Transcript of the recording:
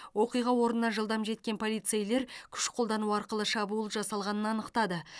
оқиға орнына жылдам жеткен полицейлер күш қолдану арқылы шабуыл жасалғанын анықтады